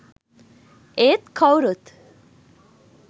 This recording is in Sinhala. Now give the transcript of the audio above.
ඒත් කවුරුත්